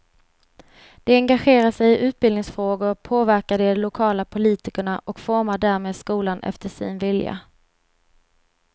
De engagerar sig i utbildningsfrågor, påverkar de lokala politikerna och formar därmed skolan efter sin vilja.